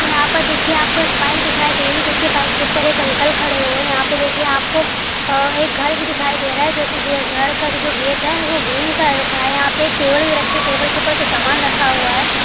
यहाँ पर देखिए आपको एक बाइक दिखाई दे रही है| बाइक एक ऊपर एक अंकल खड़े हुए है| यहाँ पे देखिये आपको एक घर भी दिखाई दे रहा है| घर का जो गेट है वो ग्रीन कलर का है| यहाँ पे एक टेबल भी रखी है| टेबल के ऊपर कुछ सामान रखा हुआ है।